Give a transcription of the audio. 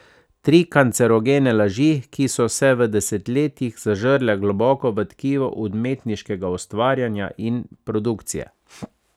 Tri kancerogene laži, ki so se v desetletjih zažrle globoko v tkivo umetniškega ustvarjanja in produkcije.